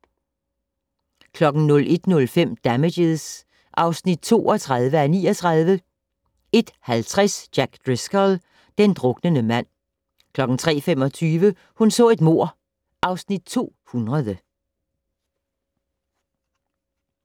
01:05: Damages (32:39) 01:50: Jack Driscoll - den druknende mand 03:25: Hun så et mord (Afs. 200)